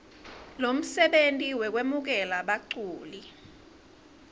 lomsebenti wekwemukela baculi